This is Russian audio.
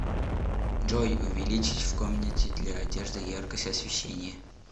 джой увеличить в комнате для одежды яркость освещения